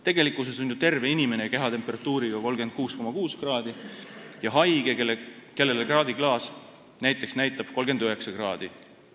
Tegelikkuses on ju terve inimene kehatemperatuuriga 36,6 kraadi ja haige see, kellele kraadiklaas näitab näiteks 39 kraadi.